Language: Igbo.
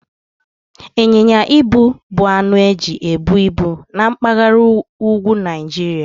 Ịnyịnya ibu bụ anụ eji ebu ibu na mpaghara úgwú Naijiria.